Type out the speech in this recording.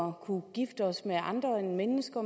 at kunne gifte os med andre end mennesker